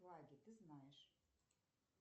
флаги ты знаешь